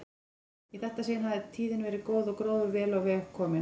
Í þetta sinn hafði tíðin verið góð og gróður vel á veg kominn.